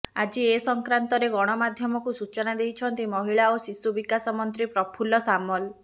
ଆଜି ଏ ସଂକ୍ରାନ୍ତରେ ଗଣମାଧ୍ୟମକୁ ସୂଚନା ଦେଇଛନ୍ତି ମହିଳା ଓ ଶିଶୁ ବିକାଶ ମନ୍ତ୍ରୀ ପ୍ରଫୁଲ୍ଲ ସାମଲ